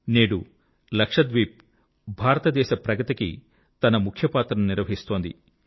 నేడు లక్షద్వీప్ భారతదేశ ప్రగతికి తన ముఖ్య పాత్రను నిర్వహిస్తోంది